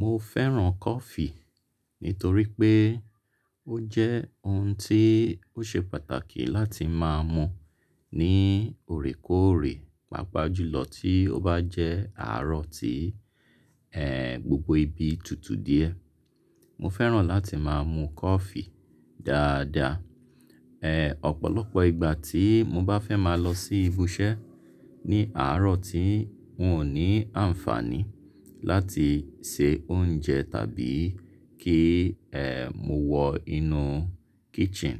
Mo fẹ́ràn Kọfi nítorí pé ó jẹ́ ohun tí ó ṣe pàtàkì láti máa mu ní òrékóòrè, pàápàá jùlọ tí ó bá jẹ́ àárọ̀ tí, ẹ́, gbogbo ibi tutù díẹ̀. Mo fẹ́ràn láti máa mu coffee dáadáa. Ẹ́, ọ̀pọ̀lọpọ̀ ìgbà tí mo bá fẹ́ máa lọ sí ibi iṣẹ́ ní àárọ̀ tí n ò ní àǹfààní láti se oúnjẹ tàbí kí, ẹ́, mo wọ inú kitchen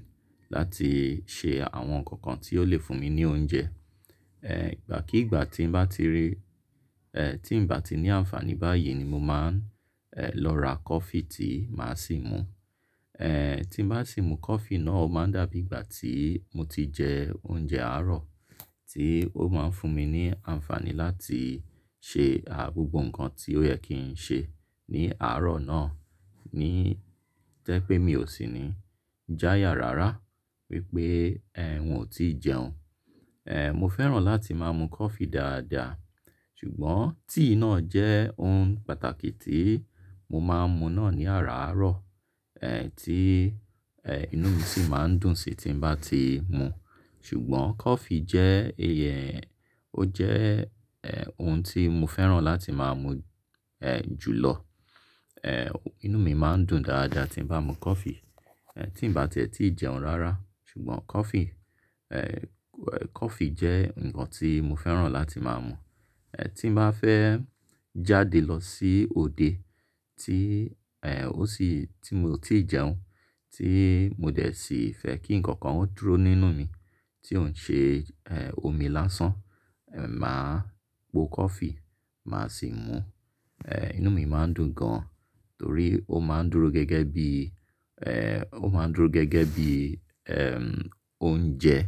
láti ṣe àwọn nǹkan kan tí ó lè fún mi ní oúnjẹ. Ẹ́, ìgbà kí ìgbà tí n bá ti rí, ẹ́, tí n bá ti ní àǹfààní báyìí ni mo máa ń, ẹ́, lọ ra Kọfi tí màá sì mú. Ẹ́, tí n bá sì mú a Kọfi náà, ó máa dàbí ìgbà tí mo ti jẹ oúnjẹ àárọ̀ tí ó máa ń fún mi ní àǹfààní láti ṣe à gbogbo nǹkan tí ó yẹ kí n ṣe ní àárọ̀ náà, ní jẹ́ pé mi ò sì ní jáya rárá wípé, ẹ́, n ò tí ì jẹun. Ẹ́, mo fẹ́ràn láti máa mu na Kọfi dáadáa. Ṣùgbọ́n tíì náà jẹ́ ohun pàtàkì tí mo máa ń mu náà ní àràárọ̀, ẹ́, tí, ẹ́, inú mi sì máa ń dùn sí tí n bá ti mú. Ṣùgbọ́n Kọfi jẹ́ iye, ó jẹ́, ẹ́, ohun tí mo fẹ́ràn láti máa mú, ẹ́, jùlọ. Ẹ́, inú mi máa ń dùn dáadáa tí n bá mu Kọfi, ẹ́, tí n bá ti ẹ́ tí ì jẹun rárá. Ṣùgbọ́n Kọfi, ẹ́, Kọfi jẹ́ nǹkan tí mo fẹ́ràn láti máa mú. Ẹ́, tí n bá fẹ́ jáde lọ sí òde tí, ẹ́, ó sì, tí mo ò tí ì jẹun, tí mo dẹ̀ sí fẹ́ kí nǹkan kan ó dúró nínú mi tí ó ń ṣe, ẹ́, omi lásán, ẹ́, màá po Kọfi, màá sì mú. Ẹ́, inú mi máa ń dùn gan, torí ó máa ń dúró gẹ́gẹ́ bí, ẹ́, ó máa ń dúró gẹ́gẹ́ bí, oúnjẹ.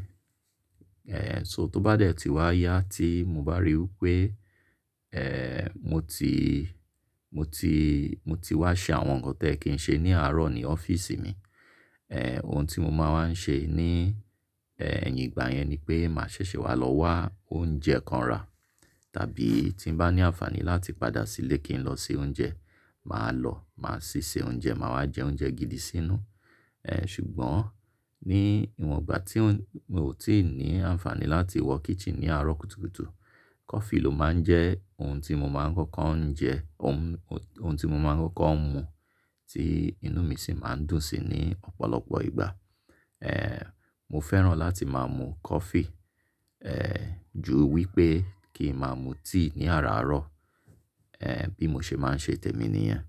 Ẹ́, so tó bá dẹ̀ tí wá yá tí mo bá ríi pé, ẹ́, mo ti, mo ti, mo ti wá ṣe àwọn nǹkan tí ẹ́ kí n ṣe ní àárọ̀ ní ọ́fíìsì mi, ẹ́, ohun tí mo máa ń ṣe ní, ẹ́, ẹ̀yìn ìgbà yẹn ni pé màá ṣẹ̀ṣẹ̀ wá lọ wá oúnjẹ kan rà. Tàbí tí n bá ní àǹfààní láti padà sílé kí n lọ se oúnjẹ, màá lọ, màá sì se oúnjẹ, màá wá jẹ oúnjẹ gidi sínú. Ẹ́, ṣùgbọ́n ní ìwọ̀n ìgbà tí n ò tí ì ní àǹfààní láti wọ kitchen ní àárọ̀ kùtùkùtù, Kọfi ló máa ń jẹ́ ohun tí mo máa ń kọ́kọ́ ń jẹ, ohun, ohun tí mo máa ń kọ́kọ́ ń mu tí inú mi sì máa ń dùn sí ní ọ̀pọ̀lọpọ̀ ìgbà. Ẹ́, mo fẹ́ràn láti máa mu Kọfi, ẹ́, ju wípé kí n máa mu tíì ní àràárọ̀, ẹ́, bí mo ṣe máa ń ṣe tẹ̀mí níyẹn.